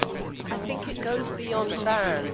I think it goes beyond bands.